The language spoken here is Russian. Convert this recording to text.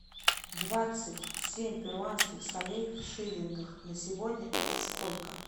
двадцать семь перуанских солей в шиллингах на сегодня это сколько